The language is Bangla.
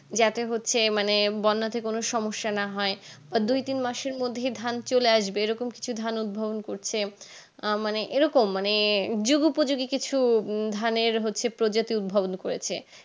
যাতে হচ্ছে মানে বর্নাতে কোনো সমস্যা না হয় দুই তিন মাসের মধ্যে ধান চলে আসবে এ রকম কিছু ধান উৎভবন করছে আহ মানে এই রকম মানে উজ্জীবিত যদি কিছু ধানের হচ্ছে প্রজাতি উৎভবন করেছে